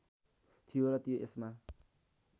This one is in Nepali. थियो र ती यसमा